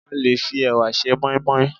a lè fi ẹwà se moimoi